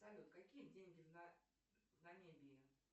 салют какие деньги в намибии